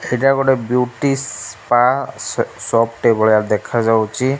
ହେଇଟା ଗୋଟେ beauty spa shop ଟେ ଭଳିଆ ଦେଖା ଯାଉଛି।